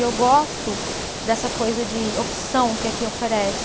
E eu gosto dessa coisa de opção que aqui oferece.